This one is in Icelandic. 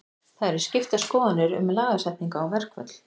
Það eru skiptar skoðanir um lagasetningu á verkföll.